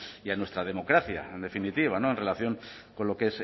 y a nuestra democracia en definitiva en relación con lo que